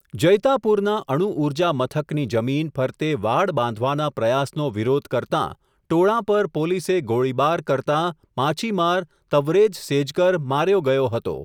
જૈતાપુરના અણુ ઊર્જા મથકની જમીન, ફરતે વાડ બાંધવાના પ્રયાસનો વિરોધ કરતાં, ટોળાં પર પોલીસે ગોળીબાર કરતાં, માછીમાર તવરેઝ સેજકર માર્યો ગયો હતો.